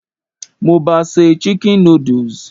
Mo ba se "chicken noodles".